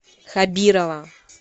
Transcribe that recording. хабирова